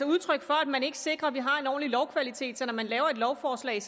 udtryk for at man ikke sikrer at vi har en ordentlig lovkvalitet altså at når man laver et lovforslag